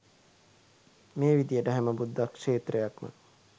මේ විදියට හැම බුද්ධක්ෂේත්‍රයක්ම